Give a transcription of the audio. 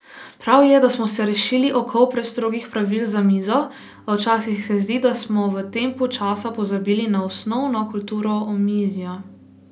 Prav je, da smo se rešili okov prestrogih pravil za mizo, a včasih se zdi, da smo v tempu časa pozabili na osnovno kulturo omizja.